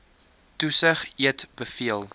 toesig eet beveel